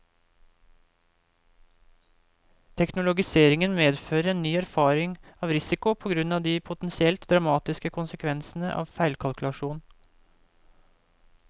Teknologiseringen medfører en ny erfaring av risiko på grunn av de potensielt dramatiske konsekvensene av feilkalkulasjon.